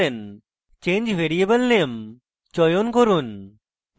change variable name চয়ন করুন